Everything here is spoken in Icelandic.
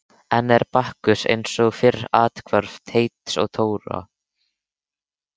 Enn er Bakkus eins og fyrr athvarf Teits og Dóra.